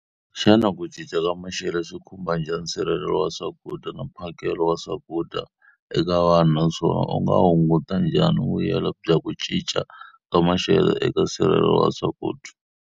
Xana ku cinca ka maxelo swi khumba njhani nsirhelelo wa swakudya na mphakelo wa swakudya eka vanhu? Naswona u nga hunguta njhani vuyelo bya ku cinca ka maxelo eka nsirhelelo wa swakudya?